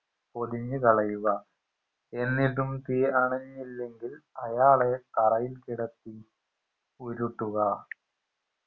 പൊതിഞ്ഞുകളയുക എന്നിട്ടും തീ അണഞ്ഞില്ലെങ്കിൽ അയാളെ തറയിൽ കിടത്തി ഉരുട്ടുക